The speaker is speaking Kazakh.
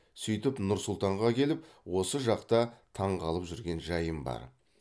сөйтіп нұр сұлтанға келіп осы жақта таңғалып жүрген жайым бар